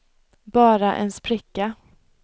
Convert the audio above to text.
bara en spricka